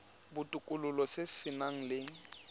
botokololo se se nang le